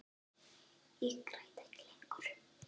Ég græt ekki lengur.